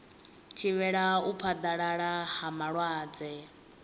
thivhela u phaḓalala ha malwadze